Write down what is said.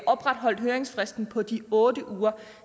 opretholdt høringsfristen på de otte uger